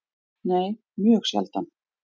Nei, mjög sjaldan.